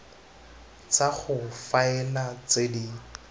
tsa go faela tse di